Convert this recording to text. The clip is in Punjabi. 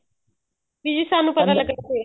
ਸਾਨੂੰ ਪਤਾ ਲੱਗਣਾ ਚਾਹੀਦਾ